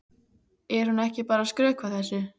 Er hún ekki bara að skrökva þessu?